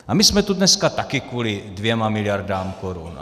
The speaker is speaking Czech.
A my jsme tu dneska taky kvůli 2 miliardám korun.